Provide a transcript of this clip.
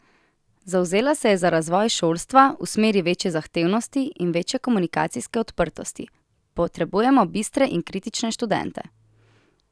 Zavzela se je za razvoj šolstva v smeri večje zahtevnosti in večje komunikacijske odprtosti: "Potrebujemo bistre in kritične študente.